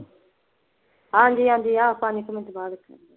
ਹਾਂਜੀ ਹਾਂਜੀ ਆ ਪੰਜ ਕੁ ਮਿੰਟ ਬਾਅਦ